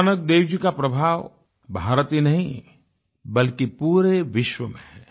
गुरुनानक देव जी का प्रभाव भारत में ही नहीं बल्कि पूरे विश्व मे है